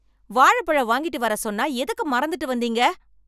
வாழப்பழம் வாங்கிட்டு வர சொன்னா எதுக்கு மறந்துட்டு வந்தீங்க?